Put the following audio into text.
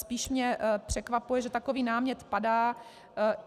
Spíš mě překvapuje, že takový námět padá.